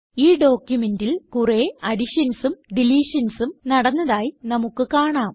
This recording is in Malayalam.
ഈ ഡോക്യുമെന്റിൽ കുറേ additionsനും deletionsനും നടന്നതായി നമുക്ക് കാണാം